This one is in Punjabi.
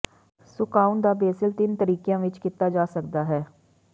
ਸੁਕਾਉਣ ਦਾ ਬੇਸਿਲ ਤਿੰਨ ਤਰੀਕਿਆਂ ਵਿਚ ਕੀਤਾ ਜਾ ਸਕਦਾ ਹੈ